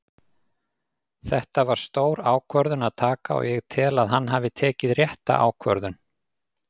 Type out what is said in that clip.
Þetta var stór ákvörðun að taka og ég tel að hann hafi tekið rétta ákvörðun.